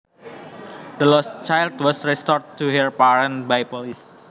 The lost child was restored to her parents by police